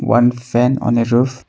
One fan on a roof.